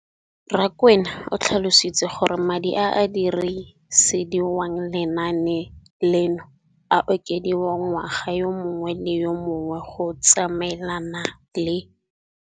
Rakwena o tlhalositse gore madi a a dirisediwang lenaane leno a okediwa ngwaga yo mongwe le yo mongwe go tsamaelana le.